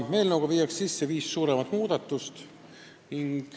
Eelnõuga kehtestatakse viis suuremat muudatust.